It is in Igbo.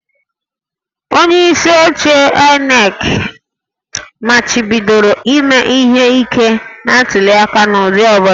Onyeisi oche INEC machibidoro ime ihe ike na ntuliaka n'ụdị ọ bụla